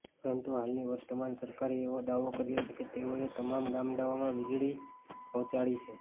પરંતુ હાલની વર્તમાન સરકારે એવો દાવો કર્યો છે કે તેઓએ તમામ ગામડાંઓમાં વિજળી પહોંચાડી છે